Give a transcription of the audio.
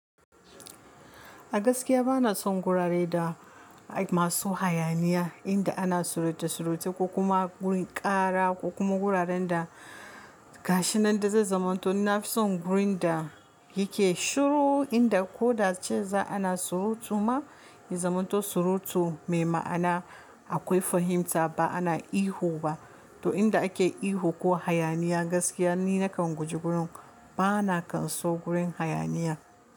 Gaskiya ba na son gurare da masu hayaniya inda ana suruta suruta ko kuma gurin ƙara ko kuma guraren da gashin nan da zai zamanto. Na fi son gurin da yake shiru inda ko da ce za ana surutu ma, yi zamanto surutu mai ma'ana akwai fahimta ba ana ihu ba. To inda ake ihu ko hayaniya gaskiya ni nakan guji gurin, ba na kan so gurin hayaniya.